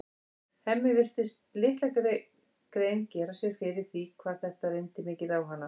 Hemmi virtist litla grein gera sér fyrir því hvað þetta reyndi mikið á hana.